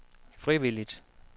frivilligt